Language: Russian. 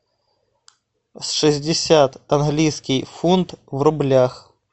шестьдесят английский фунт в рублях